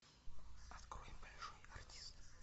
открой большой артист